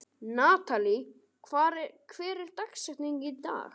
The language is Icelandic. Natalí, hver er dagsetningin í dag?